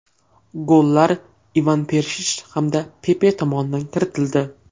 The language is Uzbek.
Gollar Ivan Perishich hamda Pepe tomonidan kiritildi.